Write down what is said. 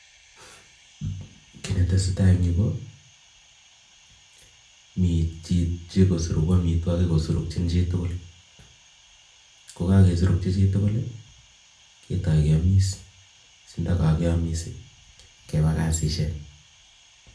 Ki netesetai Eng nyuu ko mitei Choi nesurugu amitwagiik surukyin chitugul. sikopit keamis sigebaboishonik